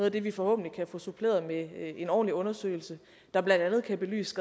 af det vi forhåbentlig kan få suppleret med en ordentlig undersøgelse der blandt andet kan belyse